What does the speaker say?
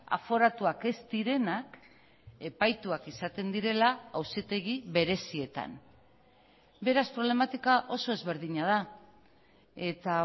aforatuak ez direnak epaituak izaten direla auzitegi berezietan beraz problematika oso ezberdina da eta